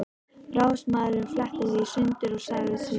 Ráðsmaðurinn fletti því í sundur og sagði síðan